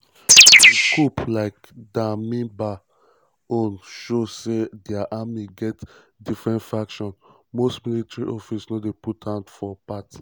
im coup like damiba own show say dia army get different factions: most military officers no put hand for for part